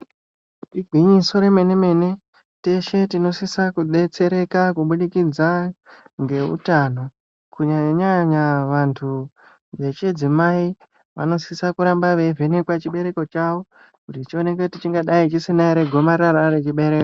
Igwinyiso remene-mene teshe tinosise kudetsereka kubudikidza ngeutano. Kunyanyanyanya vantu vechidzimai vanosisa kuramba veivhenekwa chibereko chavo, kuti chioneke kuti chingadai chisina ere gomarara rechibereko.